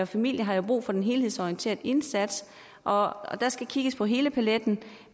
familier har jo brug for den helhedsorienterede indsats og der skal kigges på hele paletten